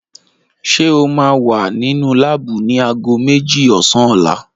Ṣé o máa wà nínú láàbù ni aago méjì ọ̀sán ọ̀la?